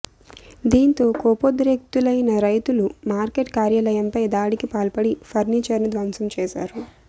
దీంతో కోపోద్రిక్తులైన రైతులు మార్కెట్ కార్యాలయంపై దాడికి పాల్పడి ఫర్నిచర్ను ధ్వంసం చేశారు